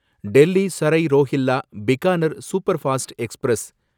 Delhi Sarai Rohilla Bikaner superfast express